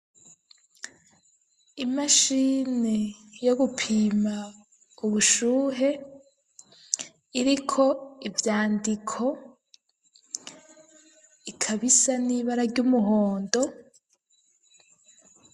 Imashini yo gupima ubushuhe iriko ivyandiko ikabisa n'ibara ry'umuhondo